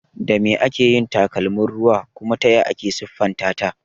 Da me ake yin takalmin ruwa kuma taya ake siffanta ta?